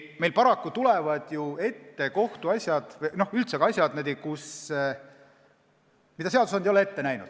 Meil tulevad paraku ju ette kohtuasjad, üldse asjad, mida seadusandja ei ole ette näinud.